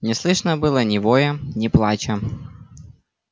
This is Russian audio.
не слышно было ни воя ни плача